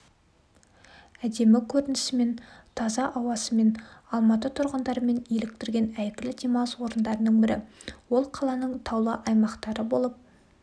әдемі көрінісімен таза аусымен алматы тұрғындарымен еліктірген әйгілі демалыс орындарының бірі ол қаланың таулы аймақтары болып